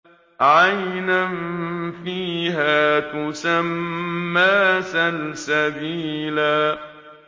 عَيْنًا فِيهَا تُسَمَّىٰ سَلْسَبِيلًا